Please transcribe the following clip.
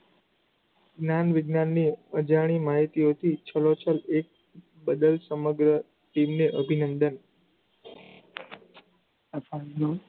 જ્ઞાન-વિજ્ઞાનની અજાણી માહિતીઓથી છલોછલ એક, બદલ સમગ્ર team ને અભિનંદન.